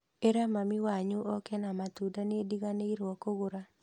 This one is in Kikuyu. Ĩra mami wanyu oke na matunda nĩndiganĩrwo kũgũra